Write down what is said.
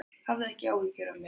Hafðu ekki áhyggjur af mér.